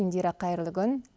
индира қайырлы күн